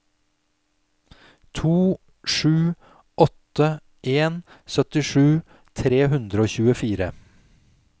to sju åtte en syttisju tre hundre og tjuefire